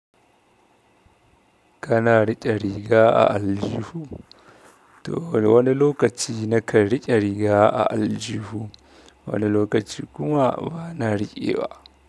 Kana riƙe riga a aljihu. To wani lokaci nakan rike riga a aljihu, wani lokaci kuma bana riƙewa.